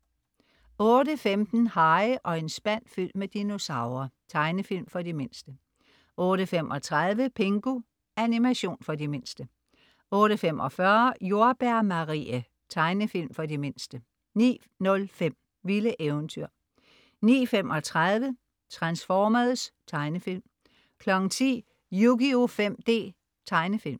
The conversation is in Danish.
08.15 Harry og en spand fyldt med dinosaurer. Tegnefilm for de mindste 08.35 Pingu. Animation for de mindste 08.45 Jordbær Marie. Tegnefilm for de mindste 09.05 Vilde eventyr 09.35 Transformers. Tegnefilm 10.00 Yugioh 5D. Tegnefilm